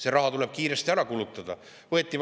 See raha tuleb kiiresti ära kulutada!